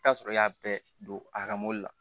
I bi t'a sɔrɔ i y'a bɛɛ don a ka mobili la